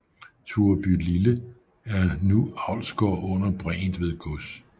Turebylille er nu avlsgård under Bregentved Gods